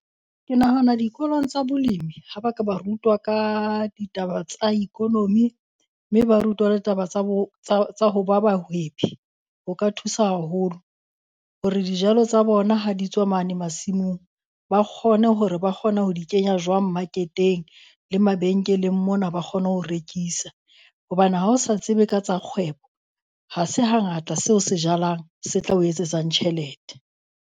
Ke nahana dikolong tsa bolemi ha ba ka ba rutwa ka ditaba tsa economy, mme ba rutwe le taba tsa bo tsa tsa ho ba bahwebi. Ho ka thusa haholo hore dijalo tsa bona ha di tswa mane masimong, ba kgone hore ba kgona ho di kenya jwang maketeng le mabenkeleng mona ba kgone ho rekisa. Hobane ha o sa tsebe ka tsa kgwebo, ha se hangata seo se jalang se tla o etsetsang tjhelete.